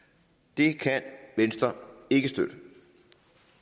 det kan venstre ikke støtte